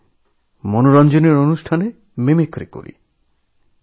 বিভিন্ন মনোরঞ্জনী ওবিনোদন অনুষ্ঠানে আমি মিমিক্রি করি